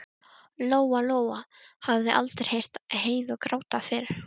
Lóa-Lóa hafði aldrei heyrt Heiðu gráta fyrr.